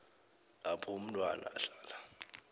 lapho umntwana ahlala